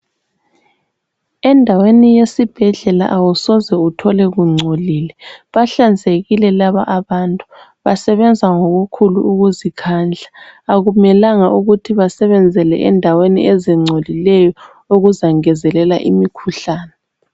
Endaweni yesibhedlela awusoze uthole kungcolile bahlanzekile laba abantu. Basebenza ngokhulu ukuzikhandla. Akumelanga ukuthi basebenzele endaweni ezingcolileyo okuzangezelela imikhuhlane.